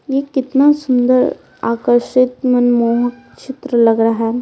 ये कितना सुंदर आकर्षित मनमोहक चित्र लग रहा है।